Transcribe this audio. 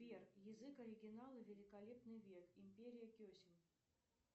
сбер язык оригинала великолепный век империя кесем